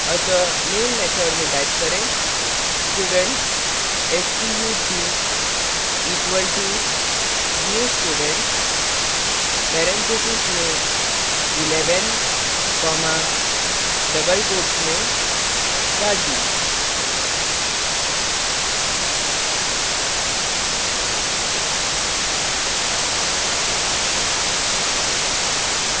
अतः main method में type करें student stu2 equal to new student parentheses में 11 comma double quotes में raju